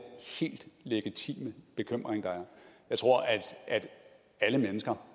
helt legitime bekymring der er jeg tror at alle mennesker